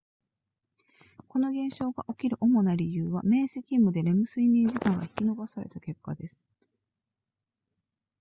この現象が起きる主な理由は明晰夢でレム睡眠時間が引き延ばされた結果です